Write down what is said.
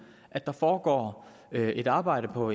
at der foregår et arbejde på